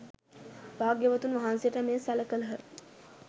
භාග්‍යවතුන් වහන්සේට මෙය සැළකළහ